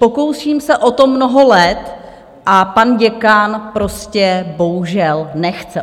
Pokouším se o to mnoho let a pan děkan prostě bohužel nechce.